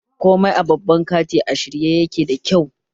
Komai a babban kanti a shirye yake da kyau